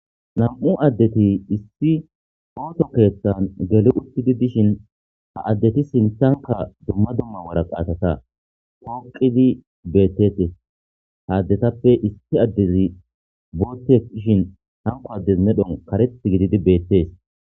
nam7u addeti issi ooto keeththan geli uttidi dishin ha addeti sintanka dumma dumma waraqa atata kooqidi beettetes haaddetappe issi addezi bootte ishin hanko addez medhon kareth gididi beettees